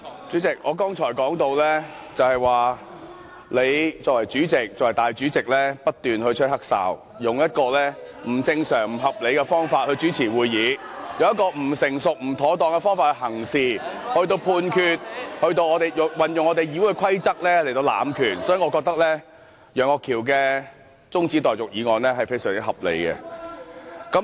主席，我剛才說到，你身為立法會主席不斷吹"黑哨"，以不正常和不合理的方法來主持會議，以不成熟和不妥當的方法行事和作出判決，運用《議事規則》來濫權，所以，我覺得楊岳橋議員提出的中止待續議案是非常合理的。